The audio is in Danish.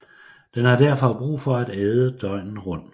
Den har derfor brug for at æde døgnet rundt